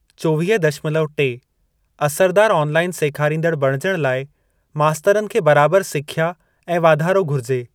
चोवीह दशमलव टे असरदार ऑनलाईन सेखारींदड़ बणिजण लाइ मास्तरनि खे बराबर सिख्या ऐं वाधारो घुरिजे।